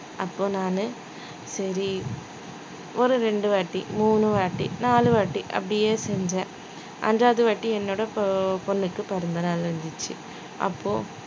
அப்போ நானு சரி ஒரு ரெண்டு வாட்டி மூணு வாட்டி நாலு வாட்டி அப்படியே செஞ்சேன் அஞ்சாவது வாட்டி என்னோட பொ~ பொண்ணுக்கு பிறந்த நாள் இருந்துச்சு அப்போ